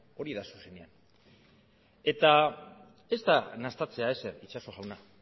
hori da zuzenean eta ez nahastea ezer itxaso jauna